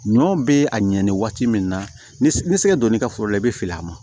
Ɲɔ bɛ a ɲɛni waati min na ni sɛgɛ don n'i ka foro la i bɛ fil'a ma